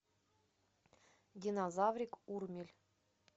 динозаврик урмель